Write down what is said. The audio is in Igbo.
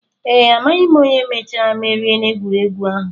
Ee, amaghị onye mechara merie n'egwuregwu ahụ